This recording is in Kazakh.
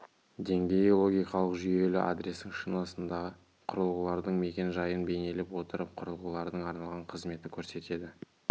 деңгейі логикалық жүйелі адрестің шинасында құрылғылардың мекен-жайын бейнелей отырып құрылғылардың арналған қызметті көрсетеді